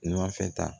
Numanfɛta